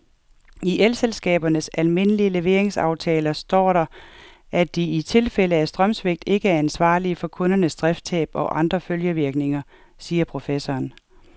I elselskabernes almindelige leveringsaftaler står der, at de i tilfælde af strømsvigt ikke er ansvarlig for kundernes driftstab og andre følgevirkninger, siger professoren.